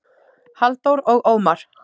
Halldór og Ómar.